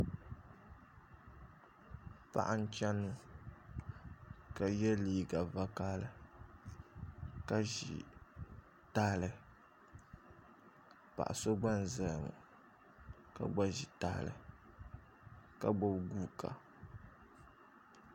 Paɣa n chɛni ka yɛ liiga vakaɣali ka ʒi tahali paɣa so gba n ʒɛya ŋo ka gba ʒi tahali ka gbubi guuka